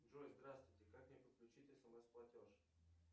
джой здравствуйте как мне подключить смс платеж